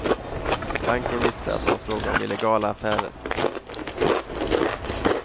Banken visste att det var fråga om illegala affärer.